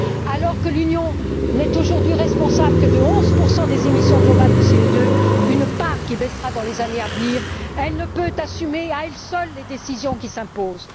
Alors que l'Union n'est aujourd'hui responsable que de 11 des émissions globales de CO2 une part qui baissera dans les années à venir elle ne peut assumer à elle seule les décisions qui s'imposent.